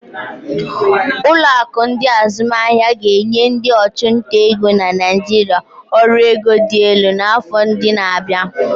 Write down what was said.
Ụlọ akụ ndi azumaahia ga-enye ndị ọchụnta ego na Naijiria ọrụ ego dị elu n'afọ ndị na-abịa.